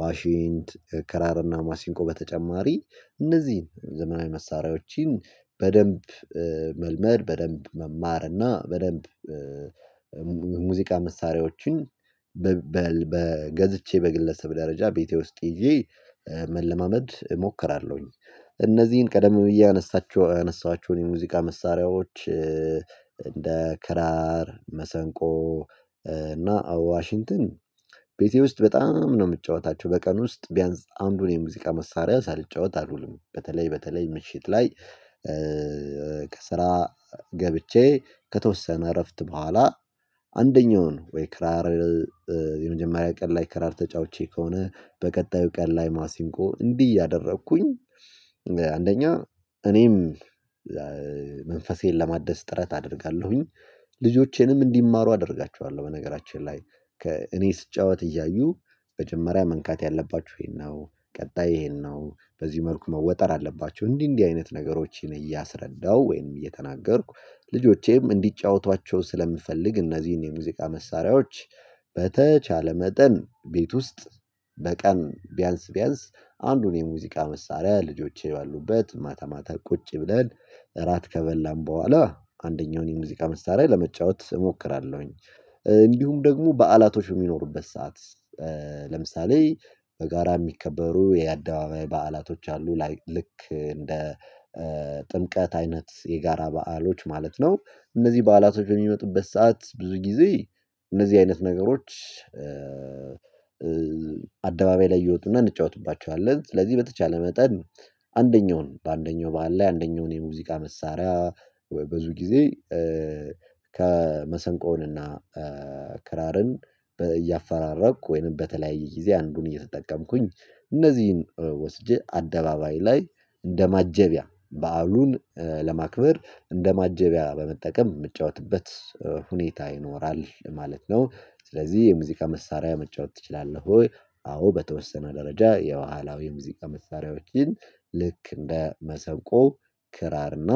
ዋሺንት ክራርና ማሲንቆ በተጨማሪ እነዚህን ዘመናዊ መሳሪያዎችን በደንብ መልመድ በደንብ መማር እና በደንብ ሙዚቃ መሳሪያዎችን በገዝቼ በግለሰብ ደረጃ ቤቴ ውስጥ ይዤ መለማመድ እሞክራለሁኝ። እነዚህን ቀደም ብዬ አነሳችሁ ያነሳኋቸውን የሙዚቃ መሳሪያዎች እንደ ክራር መሰንቆ እና ዋሽንተን ቤቴ ውስጥ በጣም ነው የምትጫወታቸው በቀን ውስጥ ቢያንስ አንዱን የሙዚቃ መሳሪያ ሳልጫወት አልውልም። በተለይ በተለይ ምሽት ላይ ከስራ ገብቼ ከተወሰነ እረፍት በኋላ አንደኛውን ወይ ክራር የመጀመሪያ ቀን ላይ ክራር ተጫውቼ ከሆነ በቀጣዩ ቀን ላይ ማሲንቆ እንዲህ እያደረኩኝ አንደኛ እኔም መንፈሴን ለማደስ ጥረት አደርጋለሁኝ። ልጆቼንም እንዲማሩ አደርጋቸዋለሁ በነገራችን ላይ ከእኔ ስጫወት እያዩ መጀመሪያ መንካት ያለባችሁ ይሄን ነው ቀጣይ ይሄን ነው በዚህ መልኩ መወጠር አለባችሁ እንዲህ እንዲህ አይነት ነገሮችን እያሰረዳሁ ወይም እየተናገርኩ ልጆቼም እንዲጫወቷቸው ስለምፈልግ እነዚህን የሙዚቃ መሳሪያዎች። በተቻለ መጠን ቤት ውስጥ በቀን ቢያንስ ቢያንስ አንዱን የሙዚቃ መሳሪያ ልጆቼ ባሉበት ማታ ማታ ቁጭ ብለን እራት ከበላን በኋላ አንደኛውን የሙዚቃ መሳሪያ ለመጫወት እሞክራለሁኝ። እንዲሁም ደግሞ በዓላቶች የሚኖሩበት ሰዓት ለምሳሌ በጋራ የሚከበሩ የአደባባይ በዓላቶች አሉ ላይ ልክ እንደ ጥምቀት አይነት የጋራ በዓሎች ማለት ነው። እነዚህ በዓላቶች የሚመጡበት ሰዓት ብዙ ጊዜ እነዚህ አይነት ነገሮች አደባባይ ላይ እየወጡና እንጫወትባቸዋለን። ስለዚህ በተቻለ መጠን አንደኛውን በአንደኛው ባህል ላይ አንደኛውን የሙዚቃ መሳሪያ ብዙ ጊዜ ከመሰንቆውንና ክራርን እያፈራረቅኩ ወይም በተለያየ ጊዜ አንዱን እየተጠቀምኩኝ እነዚህን ወስጄ አደባባይ ላይ እንደማጀቢያ በዓሉን ለማክበር እንደ ማጀቢያ በመጠቀም የምትጫወትበት ሁኔታ ይኖራል ማለት ነው። ስለዚህ የሙዚቃ መሳሪያ መጫወት ትችላለህ ወይ? አዎ በተወሰነ ደረጃ የኋላው የሙዚቃ መሳሪያዎችን ልክ እንደ መሰብቆ ክራር እና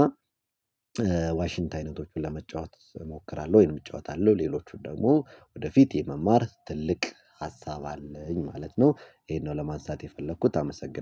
ዋሽንታ አይነቶችን ለመጫወት እሞክራለሁ ወይንም እጫወታለሁ ሌሎቹን ደግሞ ወደፊት የመማር ትልቅ ሀሳብ አለኝ ማለት ነው። ይሄን ነው ለማሳተፍ የፈለኩት አመሰግን